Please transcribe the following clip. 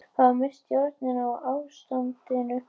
Hafa misst stjórn á ástandinu